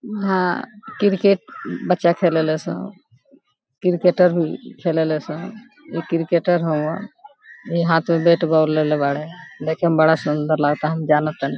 ऊहां क्रिकेट बच्चा खेलेला सब क्रिकेटर भी खेलेला सब इ क्रिकेटर हवा इ हाथ में बैट बॉल लेले बाड़े देखें मे बड़ा सुंदर लगाता हम जाना तानी।